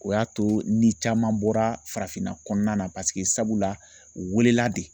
O y'a to ni caman bɔra farafinna kɔnɔna na paseke sabula u welela de.